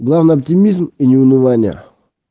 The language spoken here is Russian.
главное оптимизм и не унывание